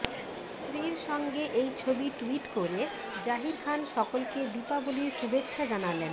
স্ত্রীর সঙ্গে এই ছবি টুইট করে জাহির খান সকলকে দীপাবলির শুভেচ্ছা জানালেন